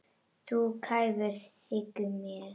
Þú ert kræfur, þykir mér.